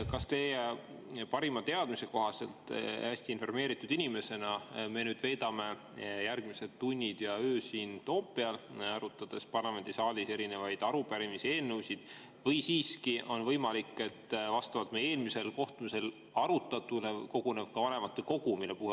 Kas teie parima teadmise kohaselt – te olete hästi informeeritud inimene – me veedame nüüd järgmised tunnid ja öö siin Toompeal, arutades parlamendisaalis erinevaid arupärimisi ja eelnõusid, või on siiski võimalik, et vastavalt meie eelmisel kohtumisel arutatule koguneb ka vanematekogu?